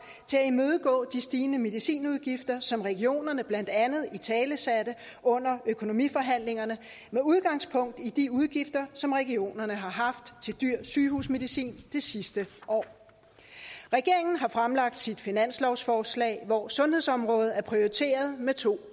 til at imødegå de stigende medicinudgifter som regionerne blandt andet italesatte under økonomiforhandlingerne med udgangspunkt i de udgifter som regionerne har haft til dyr sygehusmedicin det sidste år regeringen har fremsat sit finanslovsforslag hvor sundhedsområdet er prioriteret med to